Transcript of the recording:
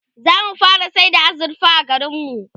zamu fara sayar da azurfa a garinmu